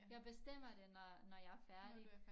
Jeg bestemmer det når når jeg er færdig